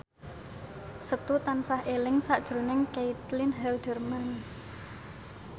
Setu tansah eling sakjroning Caitlin Halderman